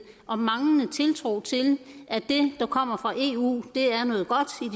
og manglende tiltro til at det der kommer fra eu er noget godt